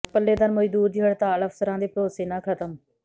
ਪੱਲੇਦਾਰ ਮਜ਼ਦੂਰ ਦੀ ਹੜਤਾਲ ਅਫਸਰਾਂ ਦੇ ਭਰੋਸੇ ਨਾਲ ਖ਼ਤਮ